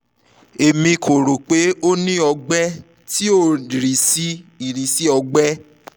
emi ko ro pe o ni ọgbẹ ti o ni irisi ti ọgbẹ